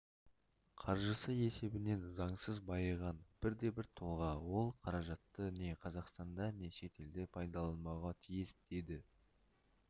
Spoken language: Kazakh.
қаржысы есебінен заңсыз байыған бірде-бір тұлға ол қаражатты не қазақстанда не шетелде пайдаланбауға тиіс деді